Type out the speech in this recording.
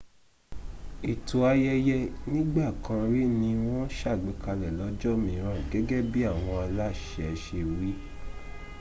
ètò ayẹyẹ nígbàkanrí ni wọ́n sàgbékalẹ̀ lọ́jọ́ míràn gẹ́gẹ́ bí àwọn aláṣẹ se wí